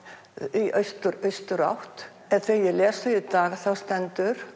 í austurátt en þegar ég les í dag þá stendur